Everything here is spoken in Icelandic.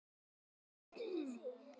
Hvað kom fyrir þig?